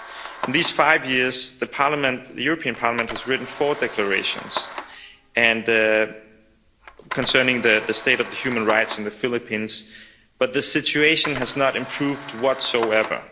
In these five years, the European Parliament has written four declarations concerning the state of the human rights in the Philippines, but the situation has not improved whatsoever.